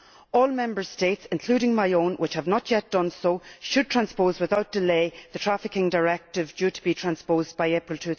All Member States including my own which have not yet done so should transpose without delay the Trafficking Directive, which was due to be transposed by April